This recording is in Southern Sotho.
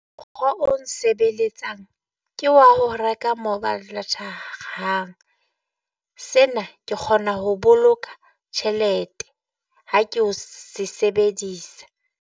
Mokgwa o nsebeletsang ke wa ho reka mobile data-ra, sena ke kgona ho boloka tjhelete ha ke o se sebedisa.